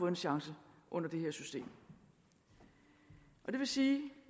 en chance under det her system det vil sige